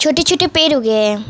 छोटे छोटे पेड़ उगे है।